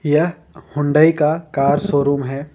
यह हुंडई का car showroom है।